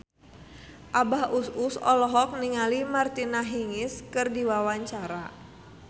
Abah Us Us olohok ningali Martina Hingis keur diwawancara